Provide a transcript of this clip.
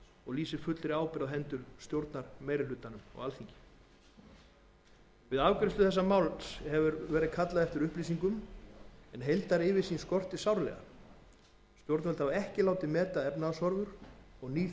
og lýsir fullri ábyrgð á hendur stjórnarmeirihlutans á alþingi við afgreiðslu þessa máls hefur verið kallað eftir upplýsingum en heildaryfirsýn skortir sárlega stjórnvöld hafa ekki látið meta efnahagshorfur og ný